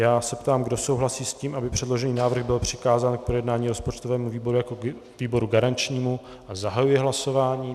Já se ptám, kdo souhlasí s tím, aby předložený návrh byl přikázán k projednání rozpočtovému výboru jako výboru garančnímu, a zahajuji hlasování.